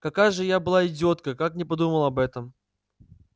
какая же я была идиотка как не подумала об этом